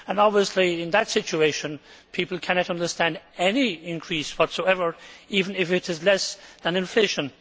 Obviously in that situation people cannot understand any increase whatsoever, even if it is less than inflation.